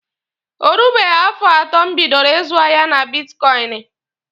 O rubeghi afọ atọ m bidoro ịzụ ahịa na bitkọịnị.